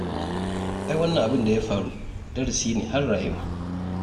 Ai wannan abin da ya faru darasi ne har rayuwa